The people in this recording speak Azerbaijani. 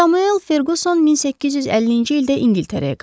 Samuel Ferquson 1850-ci ildə İngiltərəyə qayıtdı.